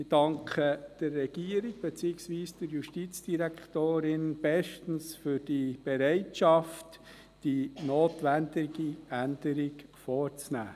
Ich danke der Regierung, beziehungsweise der Justizdirektorin, bestens für die Bereitschaft, die notwendige Änderung vorzunehmen.